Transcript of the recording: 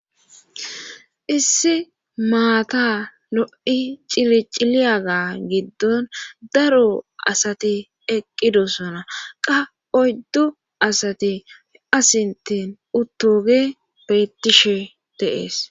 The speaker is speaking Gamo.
Issi maata lo'i ciliciliyaga giddon daro asati eqqidosona qa oyddu asati asintin uttooge bettishe deees.